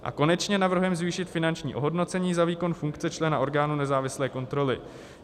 A konečně navrhujeme zvýšit finanční ohodnocení za výkon funkce člena orgánu nezávislé kontroly.